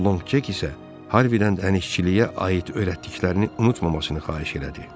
Longçek isə Harvidən dənizçiliyə aid öyrətdiklərini unutmamasını xahiş elədi.